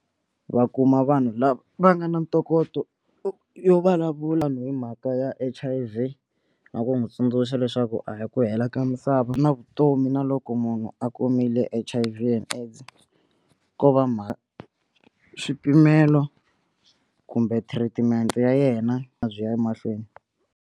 Va kuma vanhu lava va nga na ntokoto yo vulavula hi mhaka ya H_I_V na ku n'wi tsundzuxa leswaku a hi ku hela ka misava na vutomi na loko loko munhu a kumile H_I_V and AIDS ko va swipimelo kumbe treatment ya yena a byi ya emahlweni.